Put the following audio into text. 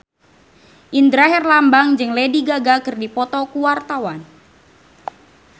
Indra Herlambang jeung Lady Gaga keur dipoto ku wartawan